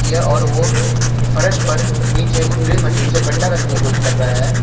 यह और वो फर्श पर नीचे उस ड्रिल मशीन से गड्ढा करने की कोशिश कर रहा है।